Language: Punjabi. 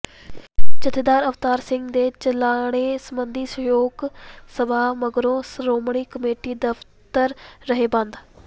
ਜਥੇਦਾਰ ਅਵਤਾਰ ਸਿੰਘ ਦੇ ਚਲਾਣੇ ਸਬੰਧੀ ਸ਼ੋਕ ਸਭਾ ਮਗਰੋਂ ਸ਼੍ਰੋਮਣੀ ਕਮੇਟੀ ਦਫ਼ਤਰ ਰਹੇ ਬੰਦ